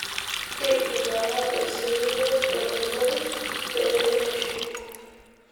imbung'akaki siiyie emunoi pee kintiship